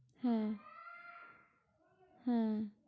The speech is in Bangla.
হ্যাঁ, হ্যাঁ,